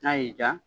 N'a y'i diya